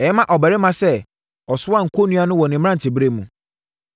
Ɛyɛ ma ɔbarima sɛ ɔsoa kɔnnua no wɔ ne mmeranteɛ ɛberɛ mu.